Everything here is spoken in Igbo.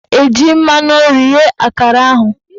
Ọ ga-eji mmanụ nri ghee akara ahụ